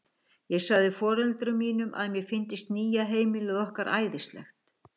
Ég sagði foreldrum mínum að mér fyndist nýja heimilið okkar æðislegt.